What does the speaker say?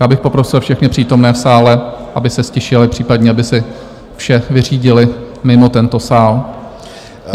Já bych poprosil všechny přítomné v sále, aby se ztišili, případně aby si vše vyřídili mimo tento sál.